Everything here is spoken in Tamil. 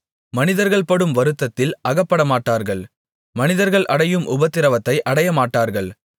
மனிதர்கள்படும் வருத்தத்தில் அகப்படமாட்டார்கள் மனிதர்கள் அடையும் உபத்திரவத்தை அடையமாட்டார்கள்